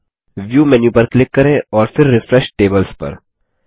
फिर view menu पर click करें और फिर रिफ्रेश टेबल्स पर